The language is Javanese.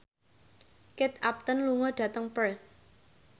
Kate Upton lunga dhateng Perth